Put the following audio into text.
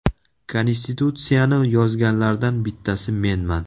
Konstitutsiyani yozganlardan bittasi menman.